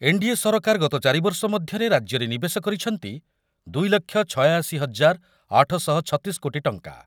NDA ସରକାର ଗତ ଚାରିବର୍ଷ ମଧ୍ୟରେ ରାଜ୍ୟରେ ନିବେଶ କରିଛନ୍ତି ଦୁଇ ଲକ୍ଷ ଛୟାଅଶି ହଜାର ଆଠ ଶହ ଛତିଶ କୋଟି ଟଙ୍କା।